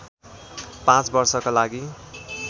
पाँच वर्षका लागि